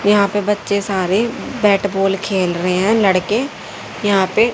यहां पे बच्चे सारे बैट बॉल खेल रहे हैं लड़के यहां पे--